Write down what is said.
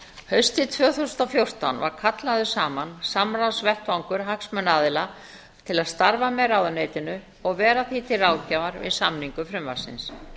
haustið tvö þúsund og fjórtán var kallaður saman samráðsvettvangur hagsmunaaðila til að starfa með ráðuneytinu og vera því til ráðgjafar við samningu frumvarpsins